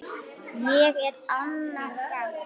Ég er Anna Frank.